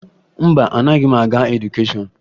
Mba, anaghị m agụ edukeshọn